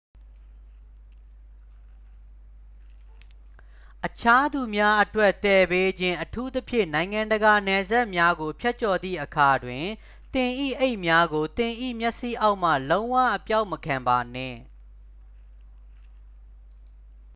အခြားသူများအတွက်သယ်ပေးခြင်း အထူးသဖြင့် နိုင်ငံတကာနယ်စပ်များကို ဖြတ်ကျော်သည့်အခါတွင် သင်၏အိတ်များကို သင်၏မျက်စိအောက်မှ လုံးဝအပျောက်မခံပါနှင့်